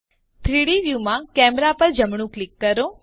3ડી વ્યુ માંCameraપર જમણું ક્લિક કરો